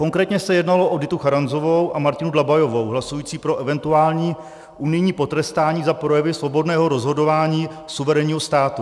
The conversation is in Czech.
Konkrétně se jednalo o Ditu Charanzovou a Martinu Dlabajovou hlasující pro eventuální unijní potrestání za projevy svobodného rozhodování suverénního státu.